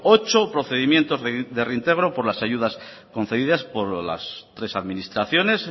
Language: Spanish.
ocho procedimientos de reintegro por las ayudas concedidas por las tres administraciones